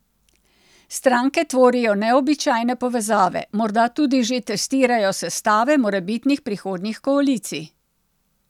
Stranke tvorijo neobičajne povezave, morda tudi že testirajo sestave morebitnih prihodnjih koalicij.